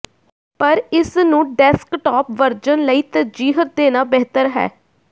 ਪਰ ਇਸ ਨੂੰ ਡੈਸਕਟਾਪ ਵਰਜਨ ਲਈ ਤਰਜੀਹ ਦੇਣਾ ਬਿਹਤਰ ਹੈ